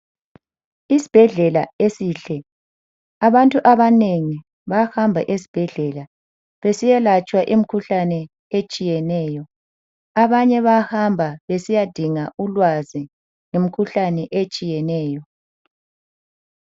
Isibhedlela esihle, abantu abanengi bayahamba esibhedlela besiya latshwa imikhuhlane etshiyeneyo. Abanye bayahamba besiya dinga ulwazi ngemikhuhlane etshiyeneyo.